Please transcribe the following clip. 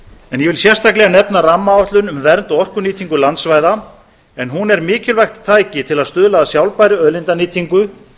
en ég vil sérstaklega nefna rammaáætlun um vernd og orkunýtingu landsvæða en hún er mikilvægt tæki til að stuðla að sjálfbærri auðlindanýtingu